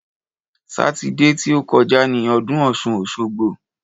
Sátidé ti ó kọjá ni ọdún ọ̀ṣun-òṣogbo.